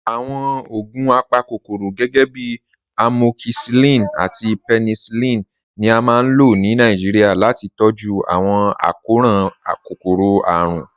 Awọn ogun apákokòró, gẹgẹ̀bí amọkíṣilín àti pẹ̀nísílín, ni à máa n lọ̀ ní Nàìjíríà láti tọ̀jú awọn akọran kókòró-árùn.